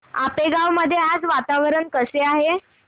आपेगाव मध्ये आज वातावरण कसे आहे